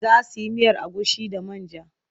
Za su yi miyar agushi da man ja.